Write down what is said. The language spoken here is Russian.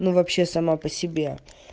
ну вообще сама по себе